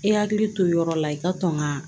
I hakili to yɔrɔ la i ka tɔn ŋaa